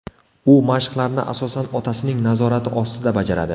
U mashqlarni, asosan, otasining nazorati ostida bajaradi.